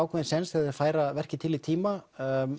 sjens þegar þeir færa verkið til í tíma